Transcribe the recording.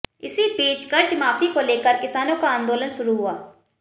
इसी बीच कर्जमाफी को लेकर किसानों का आंदोलन शुरू हुआ